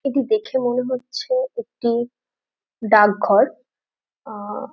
এটি দেখে মনে হচ্ছে একটি ডাকঘর আহ --